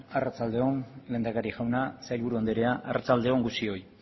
arratsalde on lehendakari jauna sailburu anderea arratsalde on guztioi